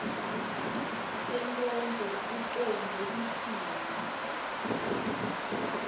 sonkondlo ucondze kutsini